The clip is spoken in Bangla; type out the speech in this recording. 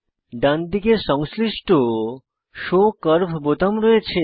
ডানদিকে সংশ্লিষ্ট শো কার্ভ বোতাম রয়েছে